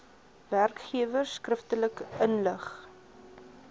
werkgewers skriftelik inlig